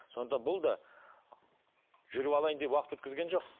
сонда бұл да жүріп алайын деп уақыт өткізген жоқ